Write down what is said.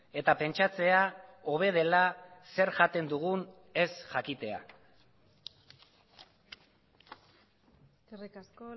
eta pentsatzea hobe dela zer jaten dugun ez jakitea eskerrik asko